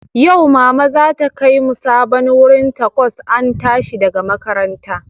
Yau, Mama za ta kai mu sabon wurin Tacos an tashi daga makaranta